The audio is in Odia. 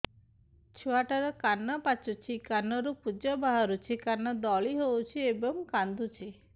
ଛୁଆ ଟା ର କାନ ପାଚୁଛି କାନରୁ ପୂଜ ବାହାରୁଛି କାନ ଦଳି ହେଉଛି ଏବଂ କାନ୍ଦୁଚି